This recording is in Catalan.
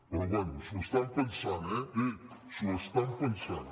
però vaja s’ho estan pensant eh s’ho estan pensant